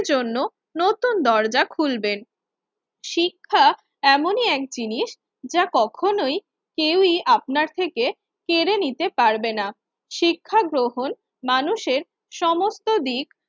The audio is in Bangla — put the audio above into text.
জন্য নতুন দরজা খুলবেন। শিক্ষা এমনই এক জিনিস যা কখনোই কেউই আপনার থেকে কেড়ে নিতে পারবে না। শিক্ষা গ্রহণ মানুষের সমস্ত দিক